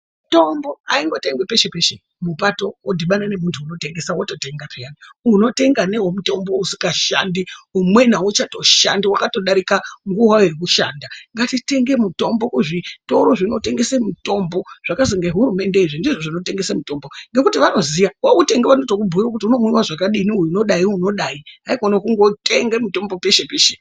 Mitombo aingotengwi peshe peshe mupato wodhibana nemuntu unotengesa wototenga peya unotenga nemutombo usingashandi umweni auchatoshandi wakatodarika nguwa yekushanda ngatitenge mitombo kuzvitoro zvinotengese mitombo zvakazi ngehurumende ndizvo zvinotengese mutombo ngekuti vanoziya wautenga vanoto kubhuyira kuti unomwiwe zvakadai, uyu unodai ,uyu unodai haikona kundotenge mutombo peshe peshe.